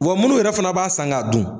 Wa munnu yɛrɛ fana b'a san ka dun